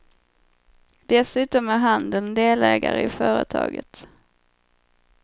Dessutom är handeln delägare i företaget.